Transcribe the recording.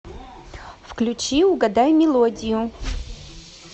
включи угадай мелодию